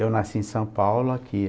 Eu nasci em São Paulo, aqui.